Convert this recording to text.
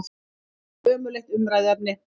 Þetta er ömurlegt umræðuefni!